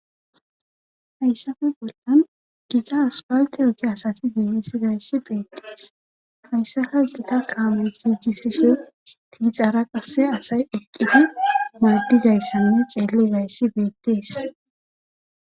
Hayssafe bollan diza asfaltte ogiya asati giigizayssi beettees hayssaka gita kaamey giigisishe tiixara qasse assay eqqidi maadizayssa xeellidayssi beettees.